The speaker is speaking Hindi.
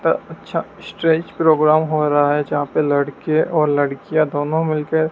अ अच्छा स्टेज प्रोग्राम हो रहा है जहां पे लड़के और लड़कियां दोनों मिलके--